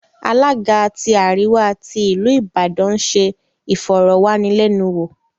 Alága tí àríwá tí ìlú Ìbàdàn ń se ìfọ̀rọ̀wánilẹ́nuwò